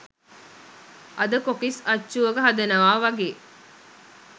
අද කොකිස් අච්චුවක හදනවා වගේ